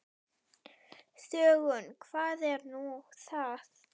Þöggun, hvað er nú það?